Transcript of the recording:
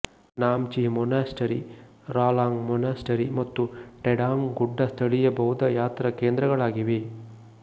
Namchi monastery Ralang monastery ಮತ್ತು ಟೆಂಡಾಂಗ್ ಗುಡ್ಡ ಸ್ಥಳೀಯ ಬೌದ್ಧ ಯಾತ್ರಾ ಕೇಂದ್ರಗಳಾಗಿವೆ